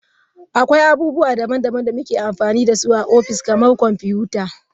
Akwai abubuwa daban-daban da muke amfani da su a ofis, kamar kwamfuta.